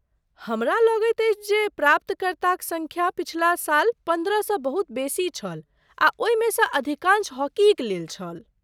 हमरा लगैत अछि जे प्राप्तकर्ताक सङ्ख्या पछिला साल पन्द्रहसँ बहुत बेसी छल आ ओहिमेसँ अधिकांश हॉकीक लेल छल।